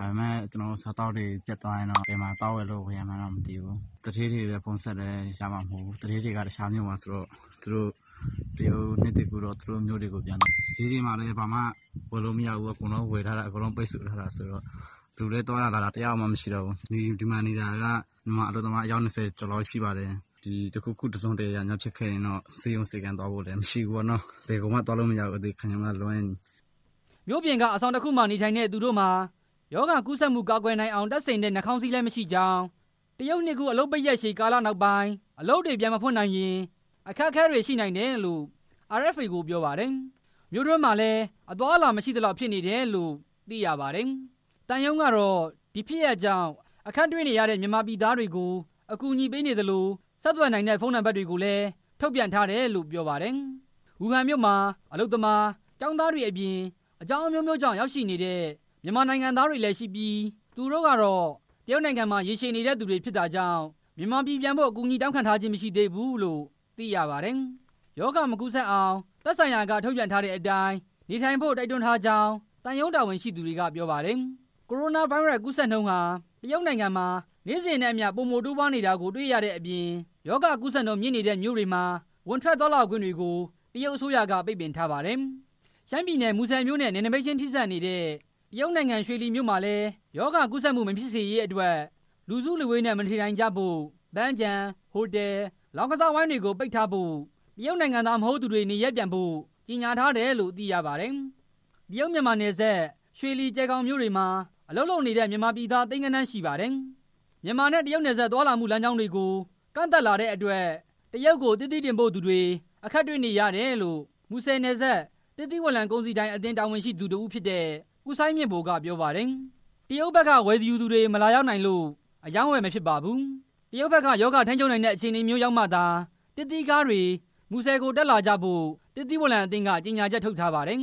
၊ ဒါပေမဲ့ အစားသောက်တွေပြတ်ရင် ဘယ်မှာသွားဝယ်လို့ ဝယ်ရမယ်ဆိုတာ မသိသေးဘူး၊ သူဌေးတွေ ဖုန်းဆက်လည်း ရမှာမဟုတ်ဘူး၊ သူတို့လည်း တရုတ်နှစ်သစ်ကူးရှိတော့ အခြားမြို့တွေပြန်သွားကြပြီ၊ ဈေးတွေမှာလည်း ဝယ်မရဘူး၊ အကုန်လုံး ပိတ်ထား တယ်ဆိုတော့၊ မြို့ထဲသွားတာလာတာ တစ်ယောက်မှ မရှိတော့ဘူး၊ ဒီမှာနေတာက မြန်မာအလုပ်သမား အယောက်၂၀ လောက်ရှိပါတယ်၊ ဒီတခုခုတစ်စုံတစ်ရာများဖြစ်ခဲ့ရင်တော့ ဆေးခန်းသွားဖို့လည်း မရှိဘူးပေါ့ နော်၊ ဘယ်ကိုမှသွားလို့မရဘူး အသေခံရုံကလွဲရင်” မြို့ပြင်က အဆောင်တစ်ခုမှာနေထိုင်ကြတဲ့ သူတို့မှာ ရောဂါကူးစက်မှု ကာကွယ်နိုင်အောင် တပ်ဆင်တဲ့ နှာခေါင်းစည်းလည်း မရှိကြောင်း၊ တရုတ်နှစ်သစ်ကူး အလုပ်ပိတ်ရက်ရှည်ကာလနောက်ပိုင်း အလုပ်တွေ ပြန်မဖွင့်နိုင်ရင် အခက်အခဲတွေရှိနိုင်တယ်လို့ RFA ကို ပြောပါတယ်။ မြို့တွင်းမှာလည်း အသွားအလာ မရှိသလောက်ဖြစ်နေတယ်လို့ သိရပါတယ်။ သံရုံးကတော့ ဒီဖြစ်ရပ်ကြောင့် အခက်တွေ့နေတဲ့ မြန်မာပြည်သားတွေကို အကူညီပေးနေသလို ဆက်သွယ်နိုင်တဲ့ ဖုန်းနံပါတ်တွေလည်း ထုတ်ပြန်ထားတယ်လိ့ု ပြောပါတယ်။ ဝူဟန်မြို့မှာ အလုပ်သမား၊ ကျောင်းသားတွေအပြင် အကြောင်းအမျိုးမျိုးကြောင့် ရောက်ရှိနေတဲ့ မြန်မာနိုင်ငံ သားတွေလည်းရှိပြီး သူတို့ကတော့ တရုတ်နိုင်ငံထဲမှာ ရေရှည်နေတဲ့သူတွေဖြစ်တာကြောင့် မြန်မာပြည်ပြန်ဖို့ အကူညီတောင်းခံခြင်း မရှိသေးဘူးလို့ သိရပါတယ်။ ရောဂါမကူးစက်အောင် သက်ဆိုင်ရာက ထုတ်ပြန်ထားတဲ့အတိုင်း နေထိုင်ဖို့ တိုက်တွန်းထားကြောင်း သံရုံးတာဝန်ရှိသူတွေက ပြောပါတယ်။ ကိုရိုနာဗိုင်းရပ်စ် ပိုးကူးစက်မှုနှုန်းဟာ တရုတ်နိုင်ငံမှာ နေ့စဉ်နဲ့အမျှ ပိုမိုတိုးပွားလာနေတာကို တွေ့ရတဲ့အပြင် ရောဂါကူးစက်မှုနှုန်း မြင့်တက်နေတဲ့မြို့တွေမှာ ဝင်ထွက်၊ သွားလာခွင့်တွေကို တရုတ်အစိုးရက ပိတ်ပင်ထားပါတယ်။ ရှမ်ပြည်နယ် မူဆယ်မြို့နဲ့ နယ်နိမိတ်ချင်းထိစပ်နေတဲ့ တရုတ်နိုင်ငံ ရွှေလီမြို့မှာလည်း ရောဂါကူးစက်မှု မဖြစ်စေရေးအတွက် လူစုလူဝေးနဲ့ မနေထိုင်ကြဖို့၊ ပန်းခြံ၊ ဟိုတယ်၊ လောင်းကစားဝိုင်းတွေကို ပိတ်ထားဖို့၊ တရုတ်နိုင်ငံသား မဟုတ်သူတွေ နေရပ်ပြန်ဖို့ ကြေညာထားတယ်လို့ သိရပါတယ်။ တရုတ်မြန်မာနယ်စပ် ရွှေလီ၊ ကျယ်ဂေါင်မြို့တွေမှာ အလုပ်လုပ်ကိုင်နေတဲ့ မြန်မာပြည်သား သိန်းဂဏန်း ရှိပါတယ်။ မြန်မာနဲ့ တရုတ်နယ်စပ်သွားလာမှု လမ်းကြောင်းတွေကို ကန့်သတ်လာတဲ့အတွက် တရုတ်ကို သစ်သီးတင်ပို့သူတွေ အခက်တွေ့နေတယ်လို့ မူဆယ်နယ်စပ် သစ်သီးဝလံကုန်စည်ဒိုင်အသင်း တာဝန်ရှိသူ တစ်ဦးဖြစ်တဲ့ ဦးစိုင်းမြင့်ဗိုလ်က ပြောပါတယ်။ တရုတ်ဘက်က ဝယ်ယူသူတွေ မလာရောက်နိုင်လို့ အရောင်းအဝယ်မဖြစ်ပါဘူး။ တရုတ်ဘက်ကရောဂါ ထိန်းချုပ်နိုင်တဲ့ အခြေအနေမျိုးရောက်မှသာ သစ်သီးကားတွေ မူဆယ်ကို တက်လာကြဖို့ သစ်သီဝလံအသင်းကလည်း ကြေညာချက် ထုတ်ထားပါတယ်